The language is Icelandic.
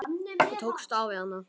Ég tókst á við hana.